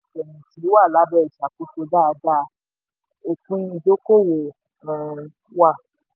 wà lábẹ́ ìṣàkóso dáadáa; òpin ìdókòwò um wà.